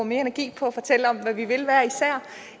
mere energi på at fortælle om hvad vi vil hver især